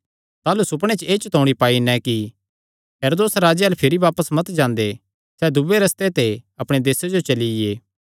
ताह़लू सुपणे च एह़ चतौणी पाई नैं कि हेरोदेस राजे अल्ल भिरी बापस मत जांदे सैह़ दूये रस्ते ते अपणे देसे जो चलिये